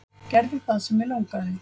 Gerði það sem mig langaði.